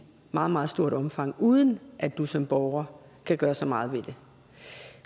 meget meget stort omfang uden at du som borger kan gøre så meget ved det